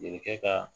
E kɛ ka